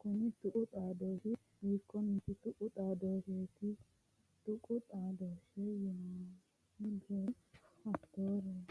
kunni tuqu xaadooshi hiikone tuqu xaadoosheeti? Tuqu xaadooshe hiitoorira horoonsi'nemo?